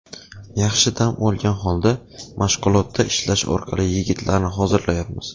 Yaxshi dam olgan holda, mashg‘ulotda ishlash orqali yigitlarni hozirlayapmiz.